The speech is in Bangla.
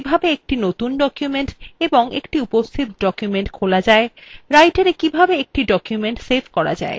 writera কিভাবে একটি নতুন document এবং একটি উপস্থিত document খোলা যায়